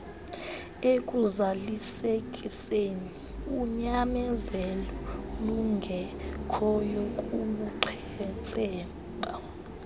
ekuzalisekiseni unyamezeloolungekhoyo kubuqhetseba